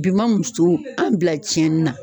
Bi ma musow, an bila ciɲɛnni na.